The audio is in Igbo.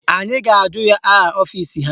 Anyị ga-ajụ ya aha ọfisi ha